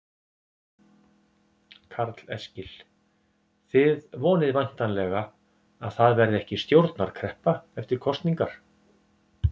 Karl Eskil: Þið vonið væntanlega að það verði ekki stjórnarkreppa eftir kosningar?